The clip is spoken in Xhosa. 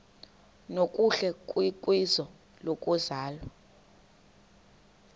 nokuhle kwizwe lokuzalwa